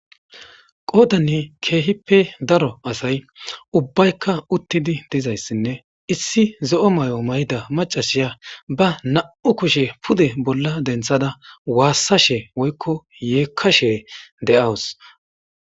qoodanne keehippe daro asay ubbaykka uttidi dizayssinne issi zo'o mayo mayida macashiya ba na'u kushe pude bolla denthada waassashe woykko yeekkashee de'awus